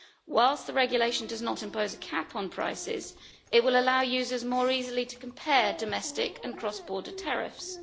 Whilst the regulation does not impose a cap on prices, it will allow users more easily to compare domestic and cross border tariffs.